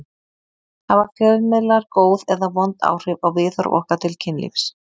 Hafa fjölmiðlar góð eða vond áhrif á viðhorf okkar til kynlífs?